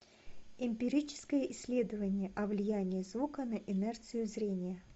эмпирическое исследование о влиянии звука на инерцию зрения